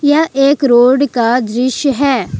यह एक रोड का दृश्य है।